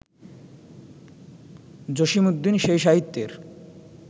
জসীমউদ্দীন সেই সাহিত্যের